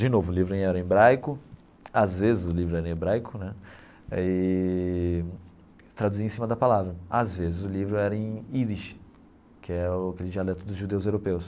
De novo, o livro era em hebraico, às vezes o livro era em hebraico né, eee traduzia em cima da palavra, às vezes o livro era em Yiddish, que é o aquele dialeto dos judeus europeus.